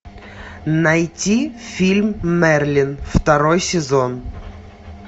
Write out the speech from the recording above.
найти фильм мерлин второй сезон